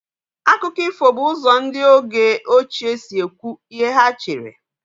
Akụkọ ifo bụ ụzọ ndị oge ochie si ekwu ihe ha chere.